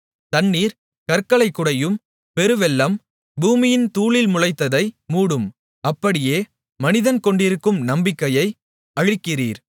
தண்ணீர் கற்களைக் குடையும் பெருவெள்ளம் பூமியின் தூளில் முளைத்ததை மூடும் அப்படியே மனிதன் கொண்டிருக்கும் நம்பிக்கையை அழிக்கிறீர்